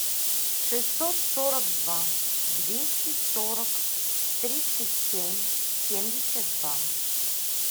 шестьсот сорок два двести сорок тридцать семь семьдесят два